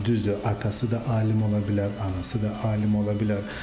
Düzdür, atası da alim ola bilər, anası da alim ola bilər.